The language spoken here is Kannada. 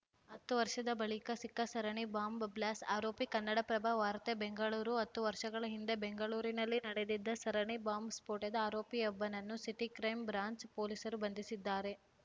ಹತ್ತು ವರ್ಷದ ಬಳಿಕ ಸಿಕ್ಕ ಸರಣಿ ಬಾಂಬ್‌ ಬ್ಲಾಸ್ ಆರೋಪಿ ಕನ್ನಡಪ್ರಭ ವಾರ್ತೆ ಬೆಂಗಳೂರು ಹತ್ತು ವರ್ಷಗಳ ಹಿಂದೆ ಬೆಂಗಳೂರಿನಲ್ಲಿ ನಡೆದಿದ್ದ ಸರಣಿ ಬಾಂಬ್‌ ಸ್ಫೋಟದ ಆರೋಪಿಯೊಬ್ಬನನ್ನು ಸಿಟಿ ಕ್ರೈಂ ಬ್ರಾಂಚ್‌ ಪೊಲೀಸರು ಬಂಧಿಸಿದ್ದಾರೆ